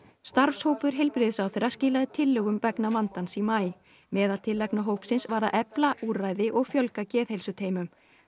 starfshópur heilbrigðisráðherra skilaði tillögum vegna vandans í maí meðal tillagna hópsins var að efla úrræði og fjölga geðheilsuteymum